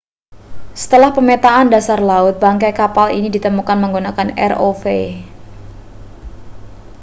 setelah pemetaan dasar laut bangkai kapal itu ditemukan menggunakan rov